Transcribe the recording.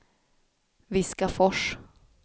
Viskafors